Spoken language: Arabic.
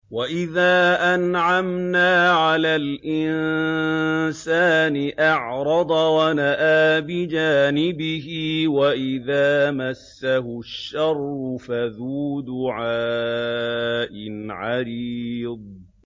وَإِذَا أَنْعَمْنَا عَلَى الْإِنسَانِ أَعْرَضَ وَنَأَىٰ بِجَانِبِهِ وَإِذَا مَسَّهُ الشَّرُّ فَذُو دُعَاءٍ عَرِيضٍ